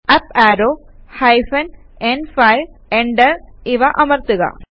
up arrow hyphen ന്5 enter ഇവ അമർത്തുക